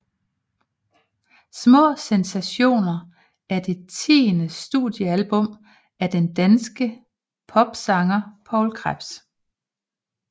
Små sensationer er det tiende studiealbum af den danske popsanger Poul Krebs